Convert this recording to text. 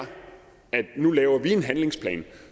at nu laver vi en handlingsplan